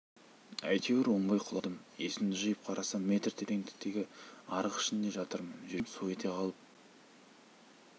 әйтеуір оңбай құладым есімді жиып қарасам метр тереңдіктегі арық ішінде жатырмын жүрегім су ете қалып қалтырап